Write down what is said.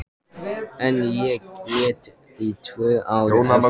En ég grét í tvö ár á eftir.